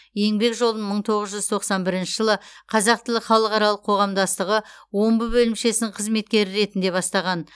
еңбек жолын мың тоғыз жүз тоқсан бірінші жылы қазақ тілі халықаралық қоғамдастығы омбы бөлімшесінің қызметкері ретінде бастаған